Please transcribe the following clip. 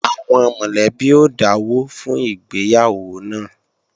Àwọn mọ̀lẹ́bí ó dáwọ́ fún ìgbéyàwó náà